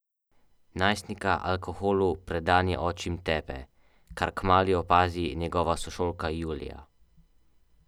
Najstnika alkoholu predani očim tepe, kar kmalu opazi njegova sošolka Julija.